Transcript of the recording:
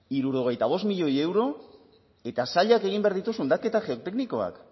hirurogeita bost milioi euro eta sailak egin behar ditu zundaketa geoteknikoak